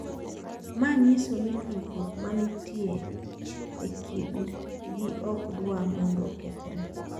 Ma nyiso ni tudruok mantie e kindgi ok dwa mondo okethre.